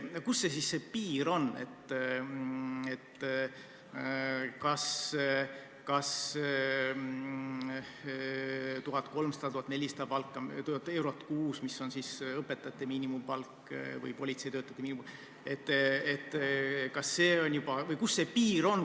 Kus see piir siis on, kas see on 1300 või 1400 eurot kuus, mis on õpetajate miinimumpalk või politseitöötajate miinimumpalk, kas see on juba piir?